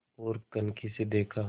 ओर कनखी से देखा